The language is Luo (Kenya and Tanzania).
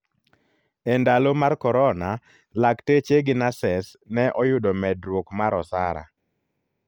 Endalo mar korona ,lakteche gi nases ne oyudo medruok mar osara.